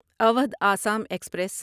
Awadh Assam express